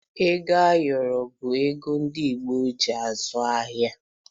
Ego ayọrọ bụbu ego ndi Igbo ji azụ ahịa